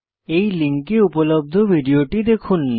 এই লিঙ্কে উপলব্ধ ভিডিওটি দেখুন